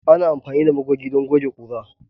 Ana amfani da magoge don goge ƙura.